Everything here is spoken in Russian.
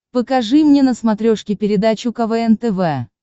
покажи мне на смотрешке передачу квн тв